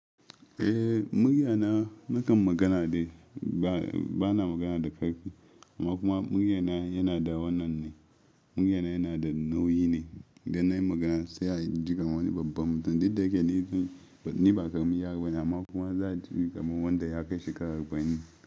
Eh, muryana nakan magana dai, bana magana da ƙarfi, amma kuma muryana yana da wannan ne, muryana yana da nauyi ne, idan nayi magana sai ya ji kamar wani babba mutum, duk da yake ni ba karamin yaro bane, amma kuma za a ji kamar wanda ya kai shekara arba'in.